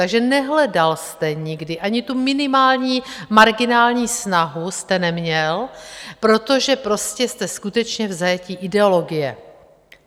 Takže nehledal jste nikdy, ani tu minimální, marginální snahu jste neměl, protože prostě jste skutečně v zajetí ideologie.